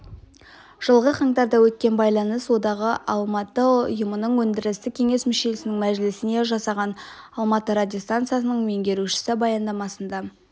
жылғы қаңтарда өткен байланыс одағы алматы ұйымының өндірістік кеңес мүшелерінің мәжілісінде жасаған алматы радиостанциясының меңгерушісі баяндамасында